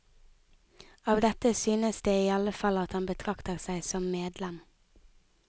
Av dette synes det i alle fall at han betrakter seg som medlem.